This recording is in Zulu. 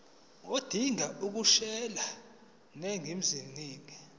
odinga ukukhosela eningizimu